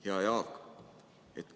Hea Jaak!